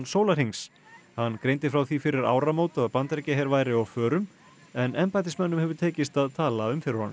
sólarhrings hann greindi frá því fyrir áramót að Bandaríkjaher væri á förum en embættismönnum hefur tekist að tala um fyrir honum